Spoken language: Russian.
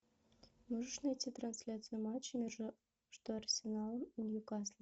можешь найти трансляцию матча между арсеналом и ньюкаслом